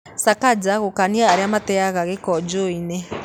Sakaja gũkania arĩa mateaga gĩko njũũĩ-inĩ